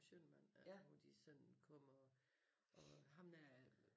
Schønnemann øh hvor de sådan kommer og ham der